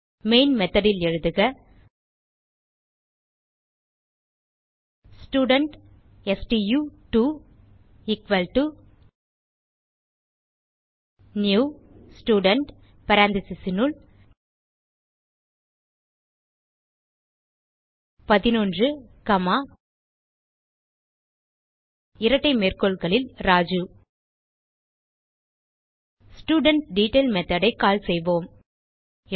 main method ல் எழுதுக student ஸ்டு2 எக்குவல் டோ நியூ ஸ்டூடென்ட் parenthesesனுள் 11 காமா இரட்டை மேற்கோள்களில் ராஜு ஸ்டூடன்ட்டெட்டைல் மெத்தோட் ஐ கால் செய்வோம்